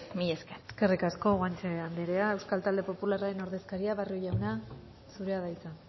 mila esker eskerrik asko guanche andrea euskal talde popularren ordezkaria barrio jauna zurea da hitza